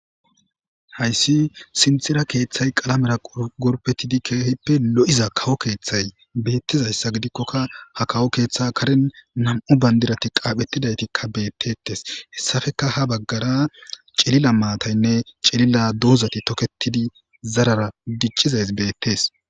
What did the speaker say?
hayssi sintira keeththay qalamera gorpetidi keehippe lo7iza kawo keeththay beettizayssa gidikkoka ha kawo keeththa karen nam7u bandirati qaaphetidaytikka beettettes hessafeka ha baggara cilila maataynne cilila doozati toketidi zarara giccizays beettes